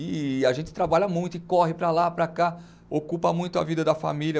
E a gente trabalha muito e corre para lá, para cá, ocupa muito a vida da família.